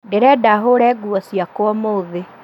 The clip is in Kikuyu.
Ndĩrenda hũre nguo ciakwa ũmũthĩ